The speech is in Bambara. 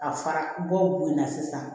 A fara bɔ la sisan